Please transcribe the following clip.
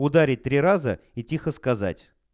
ударить три раза и тихо сказать